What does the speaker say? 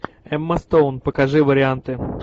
эмма стоун покажи варианты